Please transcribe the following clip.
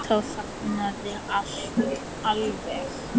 Þá þagnaði allt alveg.